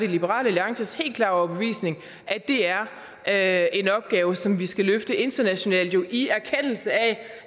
liberal alliances helt klare overbevisning at det er er en opgave som vi skal løfte internationalt i erkendelse af